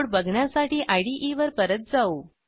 code बघण्यासाठी इदे वर परत जाऊ